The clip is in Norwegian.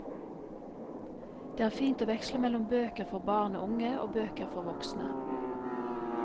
Det er fint å veksle mellom bøker for barn og unge og bøker for voksne.